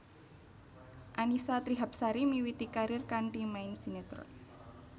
Annisa Trihapsari miwiti karir kanthi main sinetron